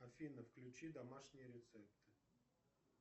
авина включи домашние рецепты